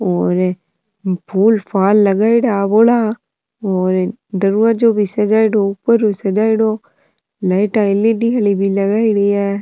और फूल फाल लगाइडो बोला और दरवाजो भी सजाइडो ऊपर भी सजाइडो लाइटा एलईडी आली भी लगाईडी है।